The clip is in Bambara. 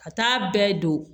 Ka taa bɛɛ don